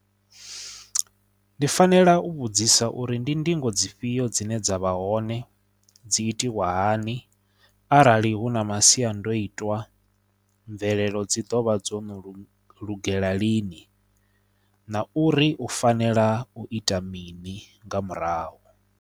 Ndi fanela u vhudzisa uri ndi ndingo dzifhio dzine dza vha hone dzi itiwa hani arali hu na masiandoitwa mvelelo dzi ḓovha dzo no lugela lini na uri u fanela u ita mini nga murahu.